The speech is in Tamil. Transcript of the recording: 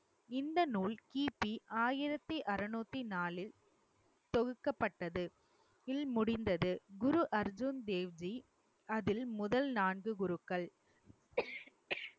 இந்த நூல் கிபி ஆயிரத்தி அறுநூத்தி நாலில் தொகுக்கப்பட்டது முடிந்தது குரு அர்ஜுன் தேவ்ஜி அதில் முதல் நான்கு குருக்கள்